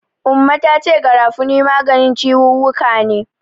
Umma ta ce Garafuni maganin ciwuwwuka ne.